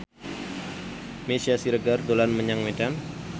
Meisya Siregar dolan menyang Medan